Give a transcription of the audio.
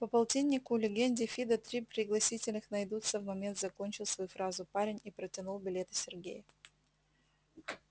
по полтиннику легенде фидо три пригласительных найдутся в момент закончил свою фразу парень и протянул билеты сергею